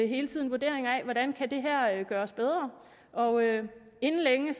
hele tiden vurderinger af hvordan det her kan gøres bedre og inden længe